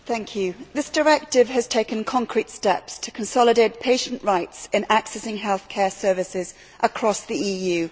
Mr President, this directive has taken concrete steps to consolidate patients' rights in accessing healthcare services across the EU.